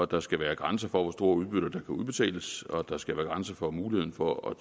der skal være grænser for hvor store udbytter der kan udbetales og at der skal være grænser for muligheden for at